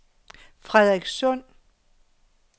Frederikssund